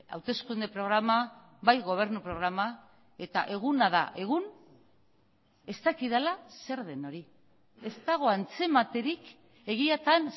hauteskunde programa bai gobernu programa eta eguna da egun ez dakidala zer den hori ez dago antzematerik egiatan